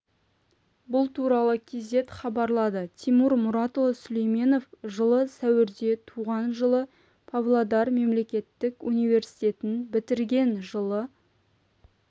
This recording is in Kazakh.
бұл туралы кз хабарлады тимур мұратұлы сүлейменов жылы сәуірде туған жылы павлодар мемлекеттік университетін бітірген жылы